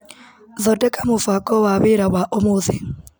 Thondeka mũbango wa wĩra wa ũmũthĩ.